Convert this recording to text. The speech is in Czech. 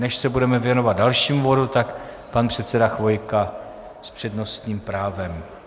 Než se budeme věnovat dalšímu bodu, tak pan předseda Chvojka s přednostním právem.